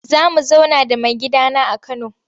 Za mu zauna da maigidana a Kano.